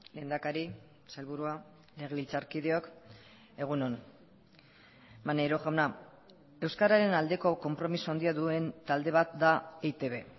lehendakari sailburua legebiltzarkideok egun on maneiro jauna euskararen aldeko konpromiso handia duen talde bat da eitb